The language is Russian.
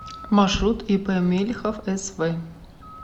маршрут ип мелихов св